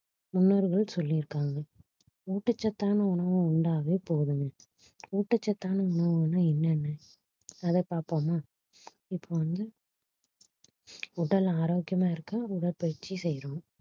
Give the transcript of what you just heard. முன்னோர்கள் சொல்லி இருக்காங்க ஊட்டச்சத்தான உணவு உண்டாவே போதும்னு ஊட்டச்சத்தான உணவுனா என்னென்ன அதை பார்ப்போமா இப்ப வந்து உடல் ஆரோக்கியமா இருக்க உடற்பயிற்சி செய்றோம்